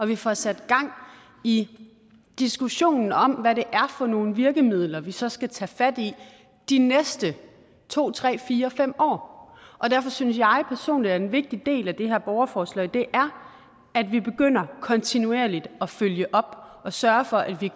vi får sat gang i diskussionen om hvad det er for nogle virkemidler vi så skal tage fat i de næste to tre fire fem år derfor synes jeg personligt at en vigtig del af det her borgerforslag er at vi begynder kontinuerligt at følge op og sørge for at vi